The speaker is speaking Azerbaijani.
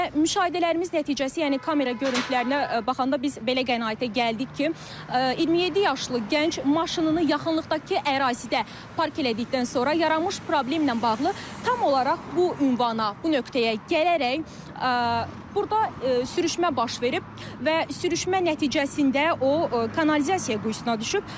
Və müşahidələrimiz nəticəsi, yəni kamera görüntülərinə baxanda biz belə qənaətə gəldik ki, 27 yaşlı gənc maşınını yaxınlıqdakı ərazidə park elədikdən sonra yaranmış problemlə bağlı tam olaraq bu ünvana, bu nöqtəyə gələrək burda sürüşmə baş verib və sürüşmə nəticəsində o kanalizasiya quyusuna düşüb.